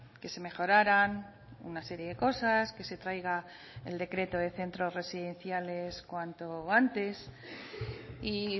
que se mejoraran una serie de cosas que se traiga el decreto de centros residenciales cuanto antes y